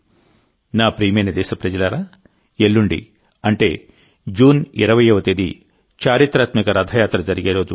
నా ప్రియమైన దేశప్రజలారాఎల్లుండి అంటే జూన్ 20వ తేదీ చరిత్రాత్మక రథయాత్ర జరిగే రోజు